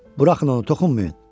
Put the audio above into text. Buraxın onu toxunmayın.